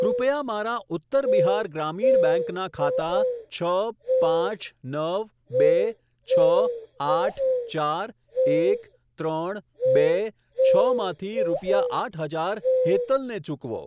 કૃપયા મારા ઉત્તર બિહાર ગ્રામીણ બેંક ના ખાતા છ પાંચ નવ બે છ આઠ ચાર એક ત્રણ બે છ માંથી રૂપિયા આઠ હજાર હેતલ ને ચૂકવો.